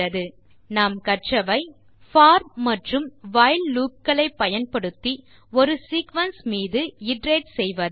இந்த டுடோரியலில் கற்றவை 1for மற்றும் while லூப் களை பயன்படுத்தி ஒரு சீக்வென்ஸ் மீது இட்டரேட் செய்வது